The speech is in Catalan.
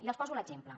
i els poso l’exemple